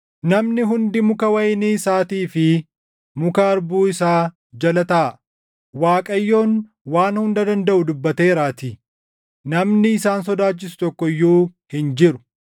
Namni hundi muka wayinii isaatii fi muka harbuu isaa jala taaʼa; Waaqayyoon Waan Hunda Dandaʼu dubbateeraatii namni isaan sodaachisu tokko iyyuu hin jiru.